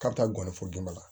K'a bɛ taa gɔni fɔ dama